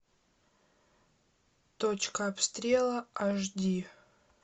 точка обстрела аш ди